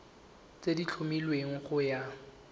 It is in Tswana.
tse di tlhomilweng go ya